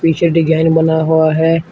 पीछे डिजाइन बनाया हुआ है।